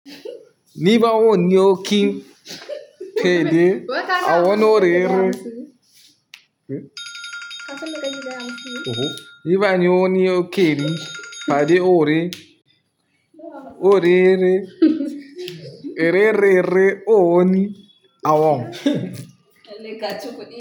Ní bá wò ní o kí kéré, a wọn ò rẹ́rẹ́. Ní bá ní o ní o kéré, bá rí ò rẹ́, ò rẹ́rẹ́, rẹ́rẹ́rẹ́, o ò ní a wọn.